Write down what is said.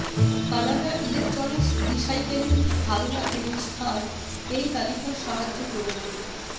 Canada electronics recycling ধারণা এবং স্থান এই তালিকা সাহায্য করবে